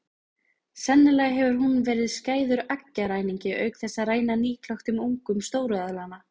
Sennilega hefur hún verið skæður eggjaræningi auk þess að ræna nýklöktum ungum stóru eðlanna.